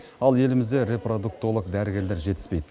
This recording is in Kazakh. ал елімізде репродуктолог дәрігерлер жетіспейді